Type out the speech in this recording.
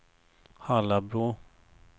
Hallabro